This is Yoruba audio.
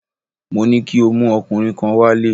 Mo ní kí o mú ọkùnrin kan wálé!